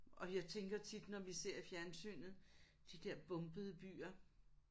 Og jeg tænker tit når vi ser i fjernsynet de der bombede byer